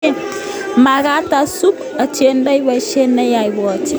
Makat usub, atindoi boisiet nayae, ibwoti.